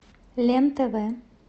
лен тв